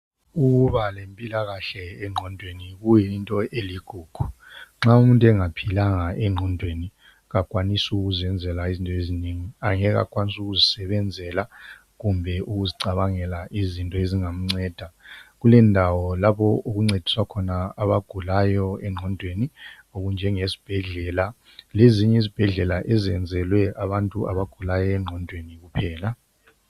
Ukuba lempilakahle engqondweni kuyinto eligugu, nxa umuntu engaphilanga engqondweni kakwanisi ukuzenzela izinto ezinengi angeke akwanise ukuzisebenzela kumbe ukuzicabangela izinto ezingamnceda. Kulendawo lapho okuncediswa khona abagulayo engqondweni okunjengesibhedlela lezinye izibhedlela ezenzelwe abantu abagulayo engqondweni kuphela.